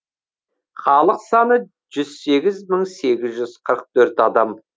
халық саны жүз сегіз мың сегіз жүз қырық төрт адам